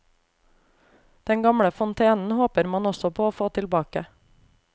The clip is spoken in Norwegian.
Den gamle fontenen håper man også på å få tilbake.